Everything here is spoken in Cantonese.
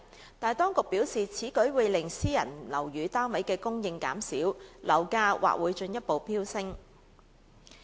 然而，當局表示，此舉會令私人樓宇單位的供應減少，樓價或會進一步飆升。